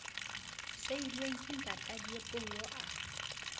siilweng ke ntata diepollo a